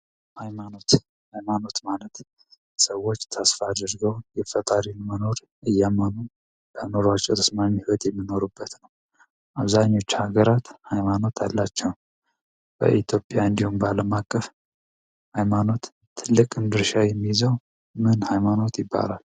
ሃይማኖት ሃይማኖት ማለት ሰዎች ተስፋ አደርገው የፈጣሪን መኖር እያመኑ በአእምሯቸው ተስማሚ ሂዎት የሚኖሩበት ነው። አብዛኛቸው ሀገራት ሃይማኖት አላቸው። በኢትዮጵያ እንዲሁም በአለም አቀፍ ሀይማኖት ትልቅ ድርሻ የሚይዘው ምን ሃይማኖት ይባላል ?